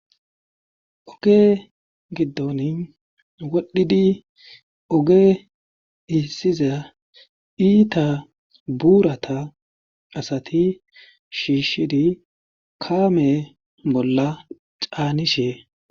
oge giddon wodhdhidi oge iissiza iita buurata asati shiishidi kaame bolla caanishe